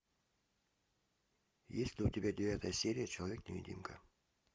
есть ли у тебя девятая серия человек невидимка